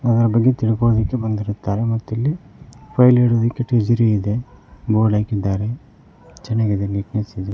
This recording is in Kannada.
ಅದರ ಬಗ್ಗೆ ತಿಳ್ಕೊಳ್ಳೋದಿಕ್ಕೆ ಬಂದಿರ್ತಾರೆ ಮತ್ತೆ ಎಲ್ಲಿ ಫೈಲ್ ಇಡೋದಕ್ಕೆ ಟ್ರಿಜರಿ ಇದೆ ಬೋರ್ಡ್ ಹಾಕಿದ್ದಾರೆ ಚೆನಾಗಿದೆ ನೀಟ್ನೆಸ್ ಇದೆ.